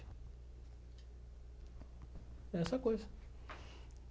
É essa a coisa.